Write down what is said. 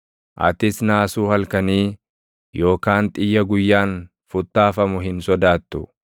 Atis naasuu halkanii, yookaan xiyya guyyaan futtaafamu hin sodaattu;